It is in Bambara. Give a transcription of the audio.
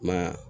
Ma